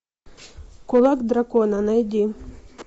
кулак дракона найди